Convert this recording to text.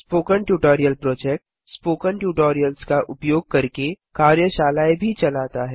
spoken tutorial project spoken tutorials का उपयोग करके कार्यशालाएँ भी चलाता है